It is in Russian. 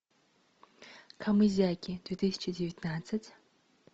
камызяки две тысячи девятнадцать